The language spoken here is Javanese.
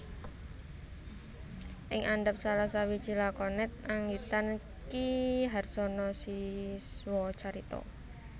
Ing andhap salah sawiji lakonet anggitan Ki Harsono Siswocarito